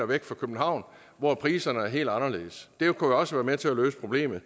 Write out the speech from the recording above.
væk fra københavn hvor priserne er helt anderledes det kunne også være med til at løse problemet